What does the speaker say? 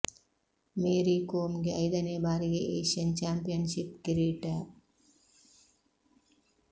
ಮೇರಿ ಕೋಮ್ ಗೆ ಐದನೇ ಬಾರಿಗೆ ಏಷ್ಯನ್ ಚಾಂಪಿಯನ್ ಶಿಪ್ ಕಿರೀಟ